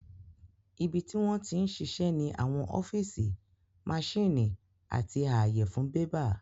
Ibi tí wọ́n ti ń ṣiṣẹ́ ní àwọn ọ́fíìsì, maṣíìnì àti ààyè fún bébà